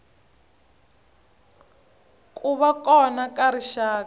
ku va kona ka rixaka